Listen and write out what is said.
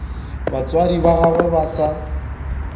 batswadi ba gagwe ba sa